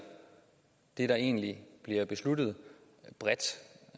det der egentlig bliver besluttet bredt